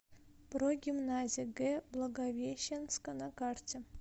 прогимназия г благовещенска на карте